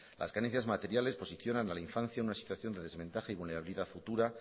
las carencias materiales posicionan a la infancia a una situación de desventaja y vulnerabilidad futura